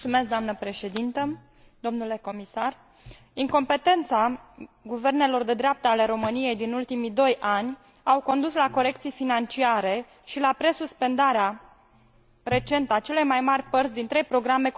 Incompetența guvernelor de dreapta ale României din ultimii doi ani a condus la corecții financiare și la presuspendarea recentă a celei mai mări părți din trei programe cofinanțate din fondurile structurale ale Uniunii Europene.